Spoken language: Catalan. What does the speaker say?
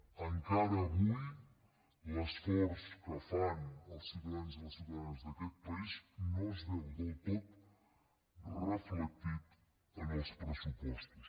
encara avui l’esforç que fan els ciutadans i les ciutadanes d’aquest país no es veu del tot reflectit en els pressupostos